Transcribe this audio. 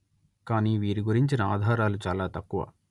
కాని వీరి గురించిన ఆధారాలు చాలా తక్కువ